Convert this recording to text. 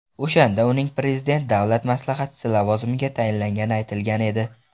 O‘shanda uning Prezident Davlat maslahatchisi lavozimiga tayinlangani aytilgan edi .